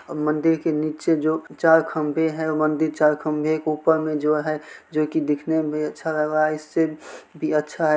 अ मंदिर के नीचे जो चार खंभे है मंदिर चार खंभे के ऊपर मे जो है जोकि दिखने मे अच्छा लग रहा है इससे भी अच्छा है।